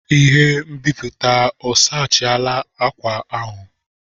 Ihe nbiputa o sechala akwa ahụ?